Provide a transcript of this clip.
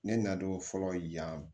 Ne na don fɔlɔ yan